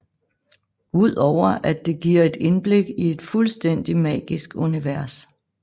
Ud over at det giver et indblik i et fuldstændig magisk univers